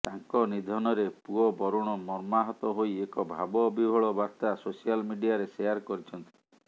ତାଙ୍କ ନିଧନରେ ପୁଅ ବରୁଣ ମର୍ମାହତ ହୋଇ ଏକ ଭାବ ବିହ୍ୱୁଳ ବାର୍ତ୍ତା ସୋସିଆଲ ମିଡିଆରେ ସେୟାର କରିଛନ୍ତି